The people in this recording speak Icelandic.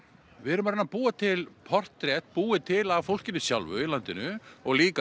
við erum að reyna að búa til portrett búið til af fólkinu sjálfu í landinu og líka